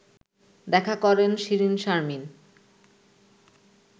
দেখা করেন শিরীনশারমিন